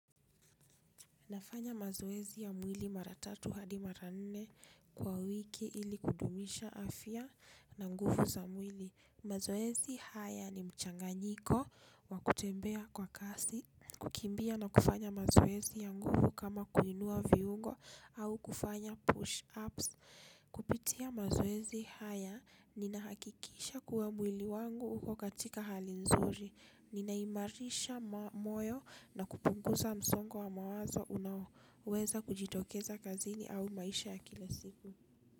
Nafanya mazoezi ya mwili mara tatu hadi mara nne kwa wiki ili kudumisha afya na nguvu za mwili. Mazoezi haya ni mchanganyiko wa kutembea kwa kasi, kukimbia na kufanya mazoezi ya nguvu kama kuinua viungo au kufanya push-ups. Kupitia mazoezi haya, ninahakikisha kuwa mwili wangu uko katika hali nzuri. Ninaimarisha moyo na kupunguza msongo wa mawazo unaoweza kujitokeza kazini au maisha ya kila siku.